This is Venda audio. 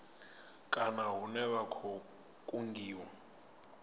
kana hune vha khou kungiwa